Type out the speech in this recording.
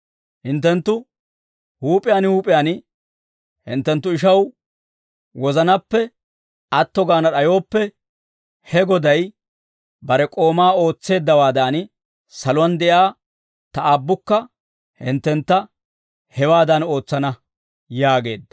«Hinttenttu huup'iyaan huup'iyaan hinttenttu ishaw wozanaappe atto gaana d'ayooppe, he goday bare k'oomaa ootseeddawaadan, saluwaan de'iyaa ta Aabbukka hinttentta hewaadan ootsana» yaageedda.